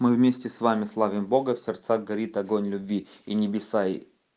мы вместе с вами славим бога в сердцах горит огонь любви и небеса и